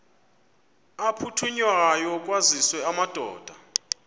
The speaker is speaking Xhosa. aphuthunywayo kwaziswe amadoda